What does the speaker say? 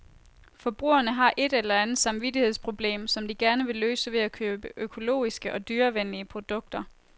Forbrugerne har et eller andet samvittigshedsproblem, som de gerne vil løse ved at købe økologiske og dyrevenlige produkter.